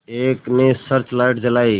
एक ने searchlight जलाई